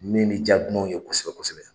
Min bɛ diya dumanw ye kosɛbɛ kosɛbɛ.